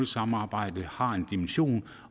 samarbejde har en vis dimension